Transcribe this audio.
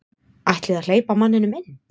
Ætlið að hleypa manninum inn.